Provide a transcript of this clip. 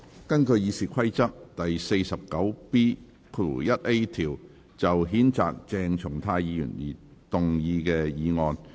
根據《議事規則》第 49B 條，就譴責鄭松泰議員而動議的議案。